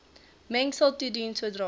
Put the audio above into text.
mengsel toedien sodra